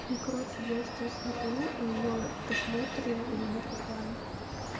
и короче я сейчас смотрю а её просмотры у меня пропали